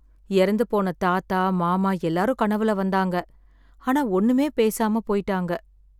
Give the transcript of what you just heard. இறந்து போன தாத்தா, மாமா எல்லாரும் கனவுல வந்தாங்க... ஆனா ஒண்ணுமே பேசாம போய்ட்டாங்க.